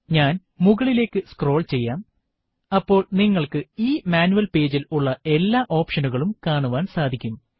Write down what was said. ഞാൻ മുകളിലേക്ക് സ്ക്രോൾ ചെയ്യാം അപ്പോൾ നിങ്ങൾക്കു ഈ മാനുവൽ പേജിൽ ഉള്ള എല്ലാ ഒപ്ഷനുകളും കാണുവാൻ സാധിക്കും